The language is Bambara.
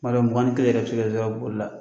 N b'a dɔn mugan ni kelen yɛrɛ bɛ se ke sɔrɔ boli la.